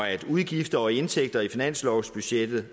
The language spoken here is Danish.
at udgifter og indtægter i finanslovsbudgettet